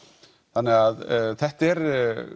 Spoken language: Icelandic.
þannig þetta er